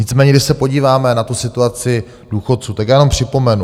Nicméně když se podíváme na tu situaci důchodců, tak já jenom připomenu.